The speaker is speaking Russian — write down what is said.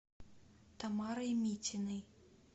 тамарой митиной